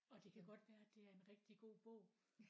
Og det kan godt være at det er en rigtig god bog